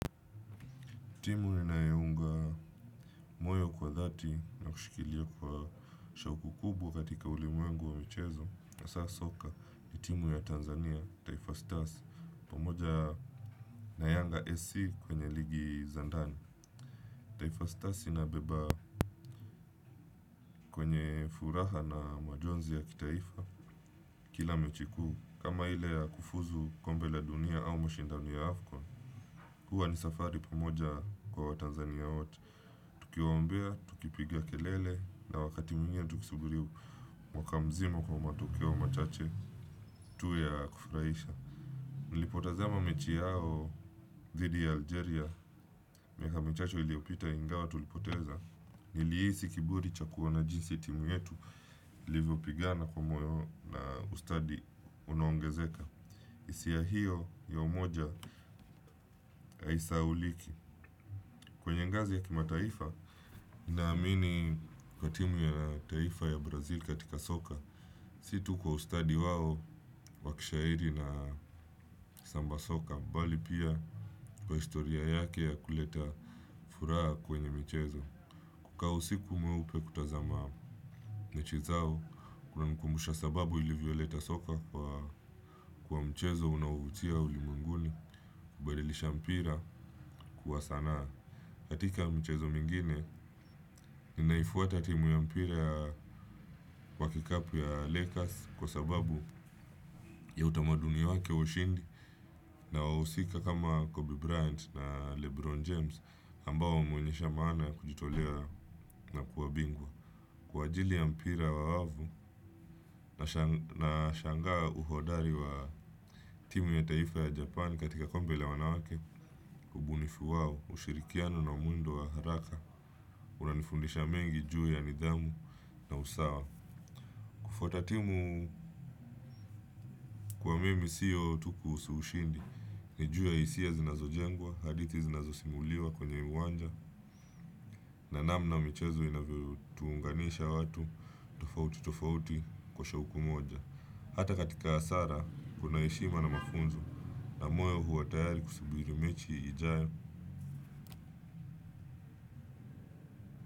Timu ninayounga moyo kwa dhati na kushikilia kwa shauku kubwa katika ulimwengu wa michezo hasa soka ni timu ya Tanzania, Taifa Stars, pamoja na yanga SC kwenye ligi za ndani Taifa Stars inabeba kwenye furaha na majonzi ya kitaifa kila mechi kuu. Kama ile ya kufuzu kombe la dunia au mashindano ya Afcon Huwa ni safari pamoja kwa watanzania wote. Tukiwaombea, tukipigia kelele na wakati mwingine tukisubiri mwaka mzima kwa matokeo machache tu ya kufurahisha. Nilipotazama mechi yao dhidi ya Algeria, miaka michache iliyopita ingawa tulipoteza. Nilihisi kiburi cha kuona jinsi timu yetu, ilivyopigana kwa moyo na ustadi unaongezeka. Hisia hiyo ya umoja haisahauliki. Kwenye ngazi ya kimataifa, naamini kwa timu ya taifa ya Brazil katika soka, si tu kwa ustadi wao wakishairi na samba soka, bali pia kwa historia yake ya kuleta furaha kwenye michezo. Kukaa usiku mweupe kutazama mechi zao, kunanikumbusha sababu ilivyoleta soka kwa kwa mchezo unaovutia ulimwenguni, kubadilisha mpira kuwa sanaa. Katika mchezo mingine, inaifuata timu ya mpira wa kikapu ya Lakers kwa sababu ya utamadunia wake wa ushindi na wahusika kama Kobe Bryant na Lebron James ambao wameonyesha maana ya kujitolea na kuwa bingwa. Kwa ajili ya mpira wa wavu nasha nashangaa uhodari wa timu ya taifa ya Japan katika kombe la wanawake, ubunifu wao, ushirikiano na muundo wa haraka, unanifundisha mengi juu ya nidhamu na usawa. Kufuata timu kwa mimi sio tu kuhusu ushindi, ni juu ya hisia zinazojengwa, hadithi zinazo simuliwa kwenye uwanja, na namna michezo inavyo tuunganisha watu, tofauti tofauti kwa shauku moja. Hata katika hasara kuna heshima na mafunzo na moyo huwa tayari kusubiri mechi ijayo.